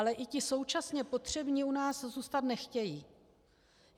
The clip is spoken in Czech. Ale i ti současně potřební u nás zůstat nechtějí.